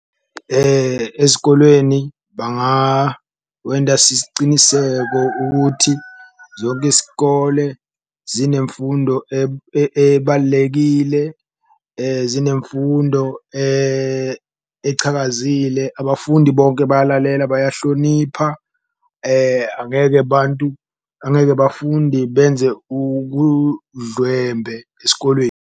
Ezikolweni bangawenda sisiciniseko ukuthi zonke isikole zinemfundo ebalulekile, zinemfundo echakazile, abafundi bonke bayalalela bayahlonipha, angeke bantu angeke bafundi benze ubudlwembe esikolweni.